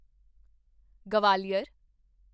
Gwalior